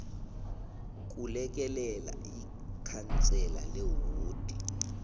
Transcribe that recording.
kulekelela ikhansela lewodi